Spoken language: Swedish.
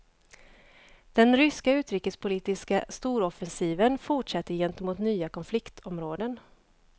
Den ryska utrikespolitiska storoffensiven fortsätter gentemot nya konfliktområden.